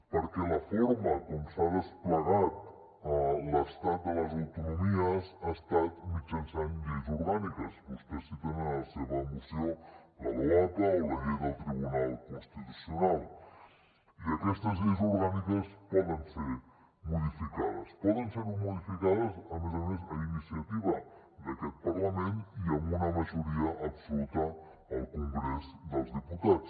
perquè la forma com s’ha desplegat l’estat de les autonomies ha estat mitjançant lleis orgàniques vostès citen en la seva moció la loapa o la llei del tribunal constitucional i aquestes lleis orgàniques poden ser modificades poden ser modificades a més a més a iniciativa d’aquest parlament i amb una majoria absoluta al congrés dels diputats